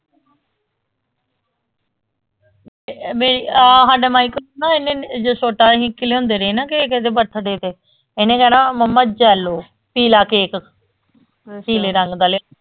ਬੇ ਆਹ ਹਾਡਾ michael ਨਾ ਇਹਨੇ ਜਦੋ ਛੋਟਾ ਹੀ ਇੱਕ ਲਿਆਂਦੇ ਰਹੇ ਨਾ ਕੇਕ ਏਦੇ ਤੇ ਇਹਨੇ ਕਹਿਣਾ ਮਮਾ ਜੈਲੋ ਪੀਲਾ ਕੇਕ ਪੀਲੇ ਰੰਗ ਦਾ ਲੈ